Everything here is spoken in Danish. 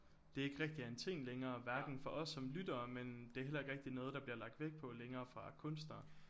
Det ikke rigtig er en ting længere hverken for os som lyttere men det er heller ikke rigtig noget der bliver lagt vægt på længere fra kunstnere